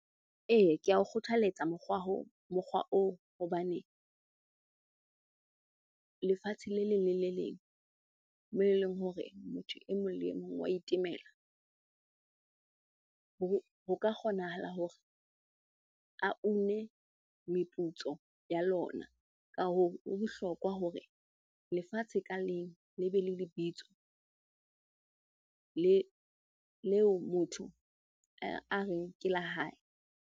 Eya, ke a o kgothaletsa mokgwa oo hobane lefatshe le leng le le leng moo eleng hore motho e mong le e mong wa itemela ho ka kgonahala hore a une meputso ya lona. Ka hoo, ho bohlokwa hore lefatshe ka leng le be le lebitso leo motho a reng ke la hae.